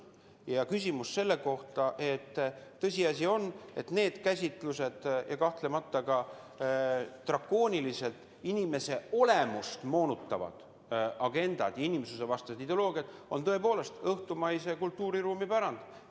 On tõsiasi, et niisugused käsitlused ja kahtlemata drakooniliselt inimese olemust moonutavad agendad, inimsusvastased ideoloogiad, on tõepoolest õhtumaise kultuuriruumi pärand.